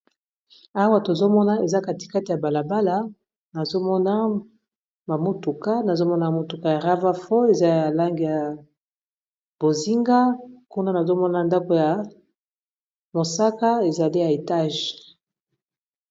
awa tozomona eza katikata ya balabala amanazomona motuka ya ravafo eza ya lange ya bozinga kuna nazomona ndako ya mosaka ezali ya etage